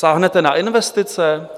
Sáhnete na investice?